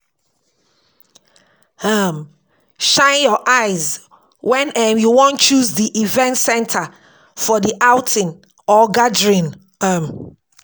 um Shine your eyes when um you wan choose di event center for the outing or gathering um